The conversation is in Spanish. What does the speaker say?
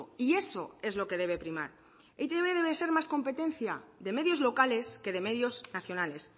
y eso es lo que debe primar e i te be debe ser más competencia de medios locales que de medios nacionales